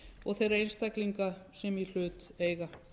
og þeirra einstaklinga sem í hlut eiga